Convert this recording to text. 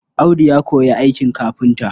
Audu ya koyi aikin kafinta.